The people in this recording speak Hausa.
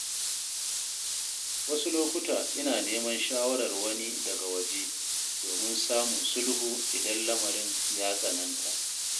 Wasu lokuta ina neman shawarar wani daga waje domin samun sulhu idan lamarin ya tsananta.